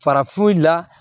Farafu la